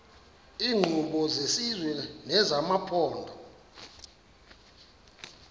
iinkqubo zesizwe nezamaphondo